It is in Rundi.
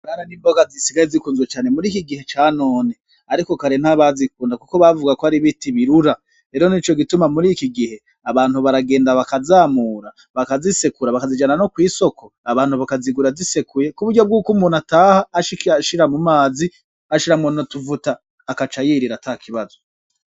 Bwana n'imboga zisigaye zikunzwe cane murikigihe canone ariko kare ntabazikunda kuko bavugako aribiti birura .Rero nicogituma murikigihe abantu baragenda bakazamura, bakazisekura, bakazijana nokw'isoko abantu bakazigura zisekuye kuburyo bwuko umuntu ataha ashika ashira mumazi ashiramwo n'utuvuta agaca yirira atakibazo.